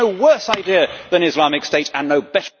There is no worse idea than Islamic State and no better